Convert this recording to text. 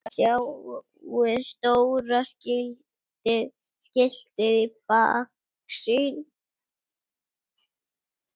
Sjáið stóra skiltið í baksýn.